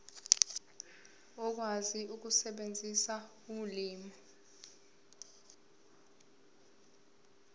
ukwazi ukusebenzisa ulimi